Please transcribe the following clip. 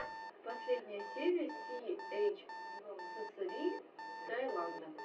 последняя серия си эйч ссри таиланда